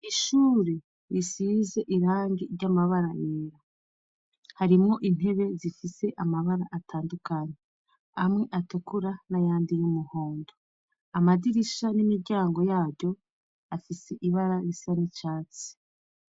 Ishure risize irangi ry'amabara yera, harimwo intebe zifise amabara atandukanye amwe atukura n'ayandi y'umuhondo, amadirisha n'imiryango yaryo afise ibara risa n'icatsi.